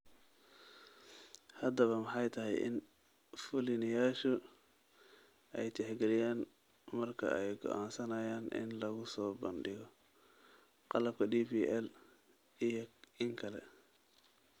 Haddaba maxay tahay in fulinayaashu ay tixgeliyaan marka ay go'aansanayaan in lagu soo bandhigo qalabka DPL iyo in kale?